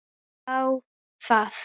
Þá það.